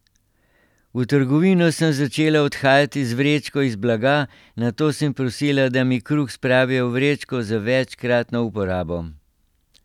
V trgovino sem začela odhajati z vrečko iz blaga, nato sem prosila, da mi kruh spravijo v vrečko za večkratno uporabo.